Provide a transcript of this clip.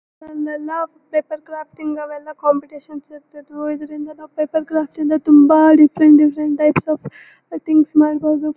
ನಮ್ಗೆಲ್ಲಾ paper crafting ಅವೆಲ್ಲ competition ಇರ್ತಿದ್ವು ಇದರಿಂದ ನಾವು ಪೇಪರ್ ಕ್ರಾಫ್ಟ್ ಇಂದ ತುಂಬಾ different different types of things ಮಾಡಬೋದು.